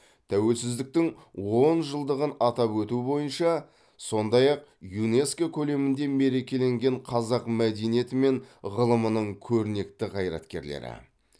тәуелсіздіктің он жылдығын атап өту бойынша сондай ақ юнеско көлемінде мерекеленген қазақ мәдениеті мен ғылымының көрнекті қайраткерлері